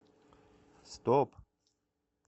стоп